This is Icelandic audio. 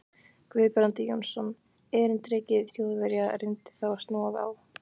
Guðbrandur Jónsson, erindreki Þjóðverja, reyndi þá að snúa á